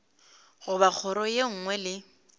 goba kgoro ye nngwe le